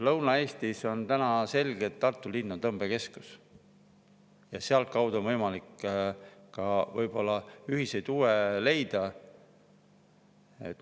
Lõuna-Eestis on täna selge, et Tartu linn on tõmbekeskus, ja sealtkaudu on võimalik võib-olla ka ühiseid huve leida.